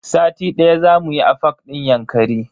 Sati daya zamu yi a fak din Yankari.